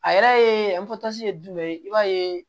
A yɛrɛ ye ye jumɛn ye i b'a ye